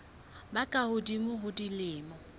ba ka hodimo ho dilemo